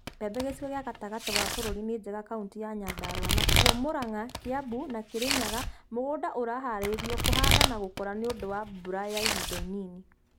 Mbembe gicigo gia gatagati wa bũrũri ninjega kauntĩ ya Nyandarua nakuo Muranga, Kiambu, na Kirinyaga mũgũnda ũraharĩrio na kũhanda na gũkũra nĩũndũ wa mbura ya ihinda inini